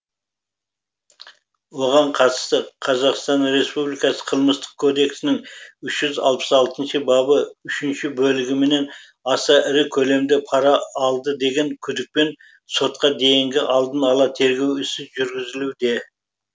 оған қатысты қазақстан республикасы қылмыстық кодексінің үш жүз алпыс алтыншы бабы үшінші бөлігіменен аса ірі көлемде пара алды деген күдікпен сотқа дейінгі алдын ала тергеу ісі жүргізілуде